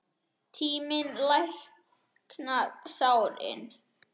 Tíminn læknar sárin.